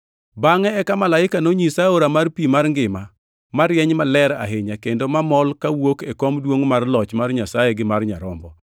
Bangʼe eka malaika nonyisa aora mar pi mar ngima, marieny maler ahinya, kendo mamol kawuok e kom duongʼ mar loch mar Nyasaye gi mar Nyarombo,